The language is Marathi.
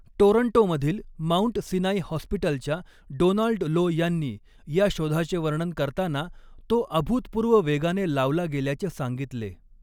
टोरंटोमधील माउंट सिनाई हॉस्पिटलच्या डोनाल्ड लो यांनी या शोधाचे वर्णन करताना तो 'अभूतपूर्व वेगाने' लावला गेल्याचे सांगितले.